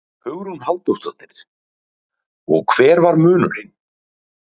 Hugrún Halldórsdóttir: Og hver var munurinn?